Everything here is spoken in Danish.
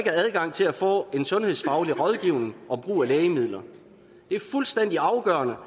er adgang til at få en sundhedsfaglig rådgivning om brug af lægemidler det er fuldstændig afgørende